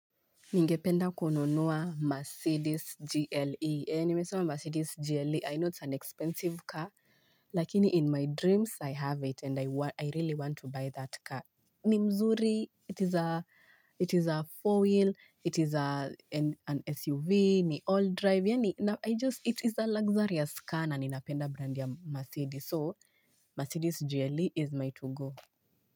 Ninge penda kununua Mercedes GLE. Ni mesema Mercedes GLE, I know it's an expensive car, lakini in my dreams I have it and I really want to buy that car. Ni mzuri, it is a four wheel an SUV ni old drive yani it is a laxsarious car na ninapenda brand ya maceedes. So, Mercedes GLE is my to-go.